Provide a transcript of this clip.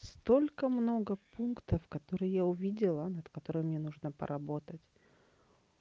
столько много пунктов которые я увидела над которой мне нужно поработать